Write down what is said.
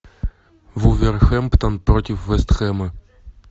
вулверхэмптон против вест хэма